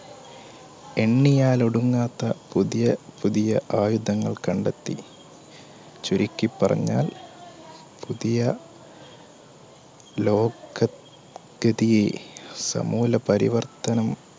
എണ്ണിയാൽ ഒടുങ്ങാത്ത പുതിയ പുതിയ ആയുധങ്ങൾ കണ്ടെത്തി. ചുരുക്കിപ്പറഞ്ഞാൽ പുതിയ ലോക ഗതിയെ സമൂല പരിവർത്തനം